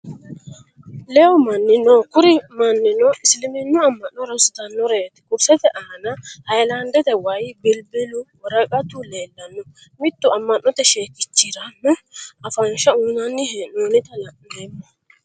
Lehu manni noo kuri mannino isiliminnu ama'nno harrunisitanoreti kurisette aana hayilaniddete wayi, bilibbilu, woraqqattu leelano mittu ammannote sheekichiranno afanishsha uyinana heenoonita la'nnemo